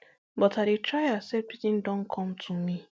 but l dey try accept wetin don come to me